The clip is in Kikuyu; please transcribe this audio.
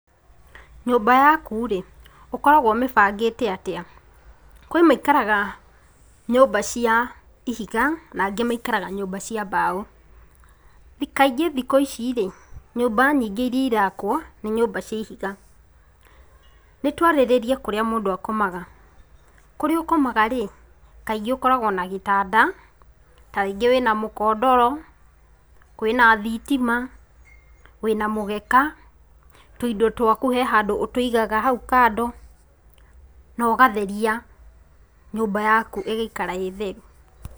Nyūmba yaku rī ūkoraguo ūmībangīte atīa? Kwī maikaraga nyūmba cia ihiga na angī maikaraga nyūmba cia mbao. Kaingī thikū ici rīī nyūmba nyingī irīa irakwo nī nyūmba cia ihiga. Nī tūarīrīrie kūrīa mūndū akomaga. Kūrīa ūkomaga rīī, kaingī ūkoragwo na gītanda, ta rīgī wīna mūkondoro, kwīna thitima, wīna mūgeka, tūindo twaku he handū ūtūigaga hau kando na ūgatheria nyūmba yaku igaikara īī theru.